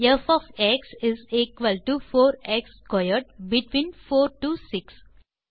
ப் of x is equal to four x squared between 4 to 6